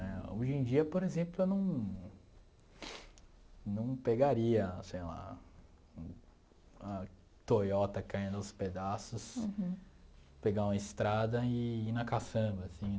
Né hoje em dia, por exemplo, eu não não pegaria, sei lá, uma Toyota caindo aos pedaços, pegar uma estrada e ir na caçamba, assim